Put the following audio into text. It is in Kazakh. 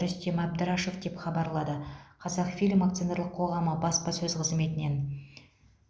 рүстем әбдірашев деп хабарлады қазақфильм акционерлік қоғамы баспасөз қызметінен